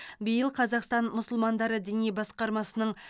биыл қазақстан мұсылмандары діни басқармасының